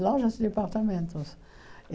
Lojas departamentos.